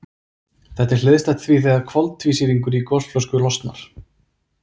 Þetta er hliðstætt því þegar koltvísýringur í gosflösku losnar.